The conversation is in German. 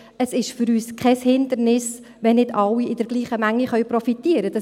Es ist für uns kein Hindernis, wenn nicht alle in derselben Menge profitieren können.